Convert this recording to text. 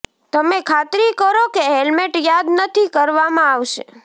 તમે ખાતરી કરો કે હેલ્મેટ યાદ નથી કરવામાં આવશે